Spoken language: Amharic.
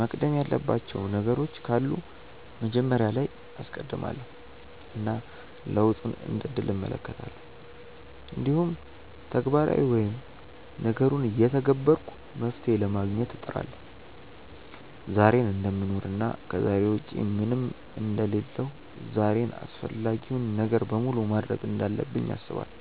መቅደም ያለባቸው ነገሮች ካሉ መጀመሪያ ላይ አስቀድማለው እና ለውጡን እንደ እድል እመለከታለሁ። እንዲሁም ተግባራዊ ወይም ነገሩን እየተገበርኩ መፍትሄ ለማግኘት እጥራለሁ። ዛሬን እደምኖር እና ከዛሬ ውጪ ምንም አንደ ሌለሁ ዛሬን አፈላጊውን ነገር በሙሉ ማድርግ እንዳለብኝ አስባለው።